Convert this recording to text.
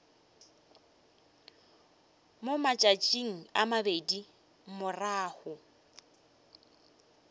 mo matšatšing a mabedi morago